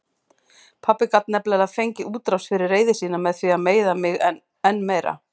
Pabbi gat nefnilega fengið útrás fyrir reiði sína með því að meiða mig enn meira.